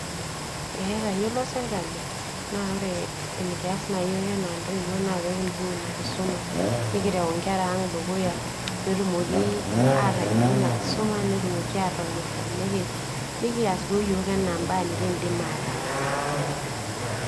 ee atayiolo sirkali, naa ore enikias na yiok ena ntoiwuo na pe kibung ina kisuma, nikirew enkera ang dukuya, petumoki atayiolo ina kisuma, netumoki atonyora, nikias duo iyiok ena imba nikindim ataas,